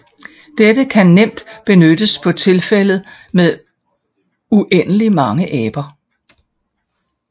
Dette kan nemt benyttes på tilfældet med uendeligt mange aber